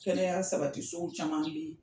Kɛnɛya sabati so caman bɛ yen.